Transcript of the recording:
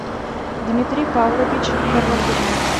дмитрий павлович горлатых